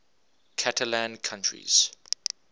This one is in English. catalan countries